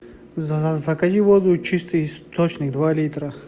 закажи воду чистый источник два литра